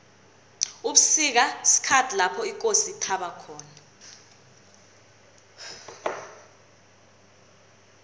ubusika sikhathi lapho ikosi ithaba khona